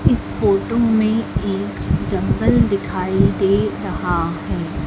इस फोटो में एक जंगल दिखाई दे रहा है।